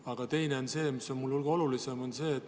Aga teine küsimus on muidugi hulga olulisem.